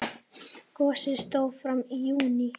Gosið stóð fram í júní.